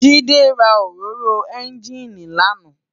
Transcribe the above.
Jide rá óróró ènjiní làná